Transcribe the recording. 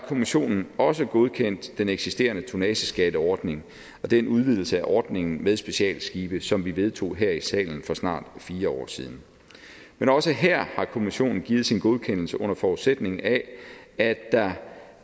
kommissionen også godkendt den eksisterende tonnageskatteordning og den udvidelse af ordningen med specialskibe som vi vedtog her i salen for snart fire år siden men også her har kommissionen givet sin godkendelse under forudsætning af at der